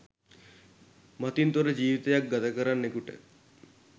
මතින් තොර ජීවිතයක් ගතකරන්නෙකුට